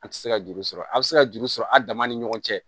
An ti se ka juru sɔrɔ a bɛ se ka juru sɔrɔ a dama ni ɲɔgɔn cɛ